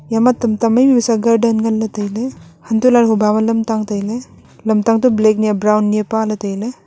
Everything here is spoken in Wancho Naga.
yama tamta maimai pesa garden ngan ley tailey hantoh lahley huba ma lamtang tailey lamtang to black nyi a brown nyi pale tailey.